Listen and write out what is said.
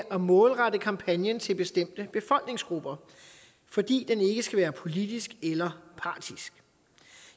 at målrette kampagnen til bestemte befolkningsgrupper fordi den ikke skal være politisk eller partisk